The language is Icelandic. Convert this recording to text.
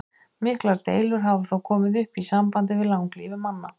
Miklar deilur hafa þó komið upp í sambandi við langlífi manna.